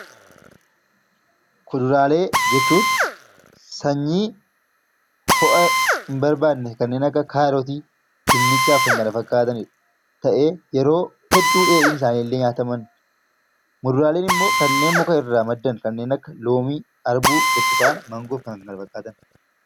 Kuduraalee jechuun sanyii ho'a hin barbaanne kanneen akka kaarotii, dinnichaa fi kan kana fakkaatan ta'ee yeroo baay'ee dheedhiin isaanii illee nyaatamuu ni danda'a. Muduraan immoo kanneen mukarraa maddan kanneen akka loomii, burtukaana, maangoo fi kanneen kana fakkaatanidha